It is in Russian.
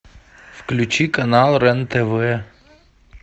включи канал рен тв